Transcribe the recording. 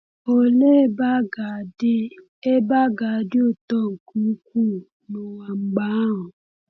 Olee ebe a ga-adị ebe a ga-adị ụtọ nke ukwuu n’ụwa mgbe ahụ!